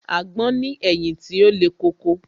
Àgbon ní ẹ̀yìn tí ó le koko